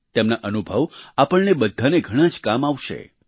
તેમના અનુભવ આપણને બધાને ઘણાં જ કામ આવશે